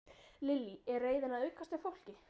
Lillý: Er reiðin að aukast hjá fólki?